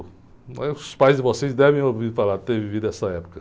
Os pais de vocês devem ter ouvido falar, ter vivido essa época.